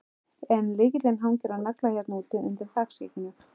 En lykillinn hangir á nagla hérna úti, undir þakskegginu.